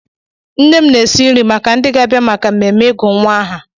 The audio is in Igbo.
Nne m na-esi nri maka ndị ga-abịa maka mmemme ịgụ nwa aha.